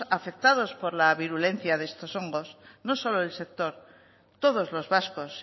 afectados por la virulencia de estos hongos no solo el sector todos los vascos